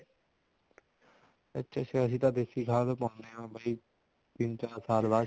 ਅੱਛਾ ਅੱਛਾ ਅਸੀਂ ਤਾਂ ਦੇਸੀ ਖਾਦ ਪਾਉਣੇ ਹਾਂ ਬਾਈ ਤਿੰਨ ਚਾਰ ਸਾਲ ਬਾਅਦ